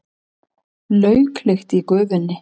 Lauklykt í gufunni.